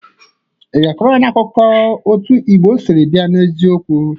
Ị ga-akọrọ anyị akụkọ otu Igbo siri bịa n'eziokwu?